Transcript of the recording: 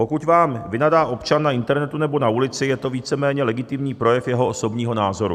Pokud vám vynadá občan na internetu nebo na ulici, je to víceméně legitimní projev jeho osobního názoru.